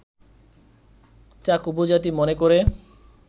চাক উপজাতি মনে করে